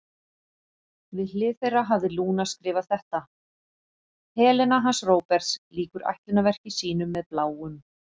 Við hlið þeirra hafði Lúna skrifað þetta: Helena hans Róberts lýkur ætlunarverki sínu með Bláum.